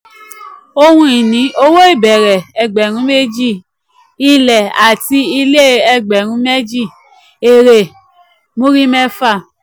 ohun ìní: um owó ìbẹ̀rẹ̀ um ẹgbẹ̀rún méjì; ilẹ̀ àti um ilé e ẹgbẹ̀rún méjì; èrè múrí mẹ́fà.